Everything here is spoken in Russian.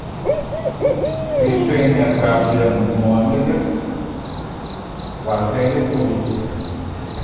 решение проблем в номере в отеле турция